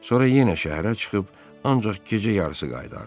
Sonra yenə şəhərə çıxıb ancaq gecə yarısı qayıdardı.